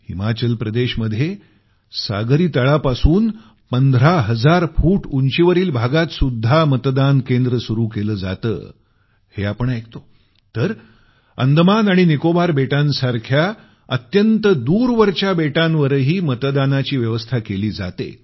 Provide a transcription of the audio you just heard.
हिमाचल प्रदेशमध्ये सागरी तळापासून 15000 फुट उंचीवरील भागात सुद्धा मतदान केंद्र सुरु केलं जातं हे आपण ऐकतो तर अंदमान आणि निकोबार बेटांसारख्या अत्यंत दूरवरच्या बेटांवरही मतदानाची व्यवस्था केली जाते